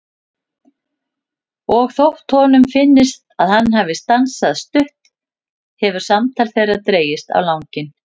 Og þótt honum finnist að hann hafi stansað stutt hefur samtal þeirra dregist á langinn.